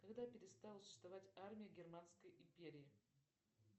когда перестала существовать армия германской империи